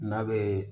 N'a bɛ